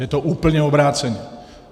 Je to úplně obráceně.